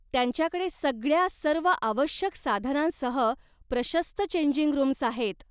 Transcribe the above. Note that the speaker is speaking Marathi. त्यांच्याकडे सगळ्या सर्व आवश्यक साधनांसह प्रशस्त चेंजिंग रूम्स आहेत.